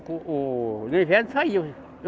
O, o, no inverno saía.